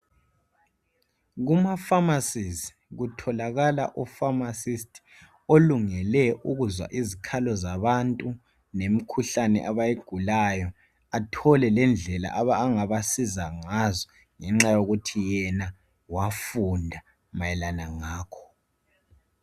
Kumafamasizi kutholakala ufamasisti olungele ukuzwa izikhalo zabantu lemkhuhlane abayigulayo athole lendlela angabasiza ngazo ngenxa yokuthi yena wafunda mayelana ngakho.